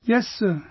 Yes sir